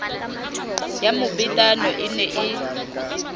ya mobetano e ne e